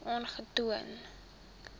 aangetoon